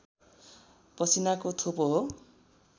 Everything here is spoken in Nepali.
पसिनाको थोपो हो